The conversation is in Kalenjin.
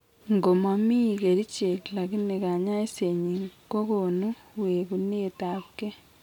ng'o momi kerichek lakini kanyaiset nyin kagonu wegunet ab gee